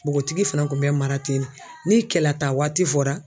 Bogotigi fana kun bɛ mara ten ne ni kɛlataa waati fɔra